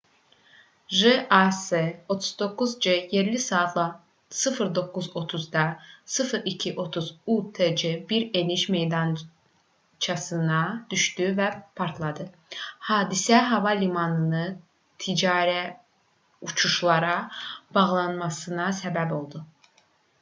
jas 39c yerli saatla 09:30-da 0230 utc bir eniş meydançasına düşdü və partladı hadisə hava limanını ticari uçuşlara bağlanmasına səbəb oldu